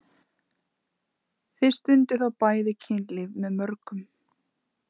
Þið stundið þá bæði kynlíf með mörgum.